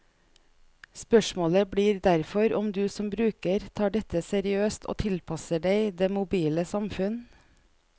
Spørsmålet blir derfor om du som bruker tar dette seriøst og tilpasser deg det mobile samfunn.